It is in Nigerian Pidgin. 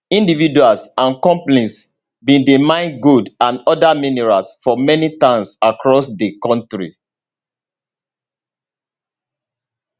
individuals and companies bin dey mine gold and oda minerals for many towns across di kontri